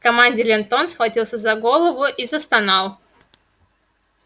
в команде лентон схватился за голову и застонал